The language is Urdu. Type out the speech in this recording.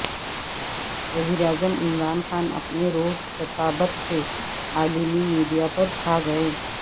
وزیراعظم عمران خان اپنے زور خطابت سے عالمی میڈیاپرچھاگئے